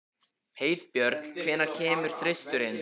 Heiðbjörk, hvenær kemur þristurinn?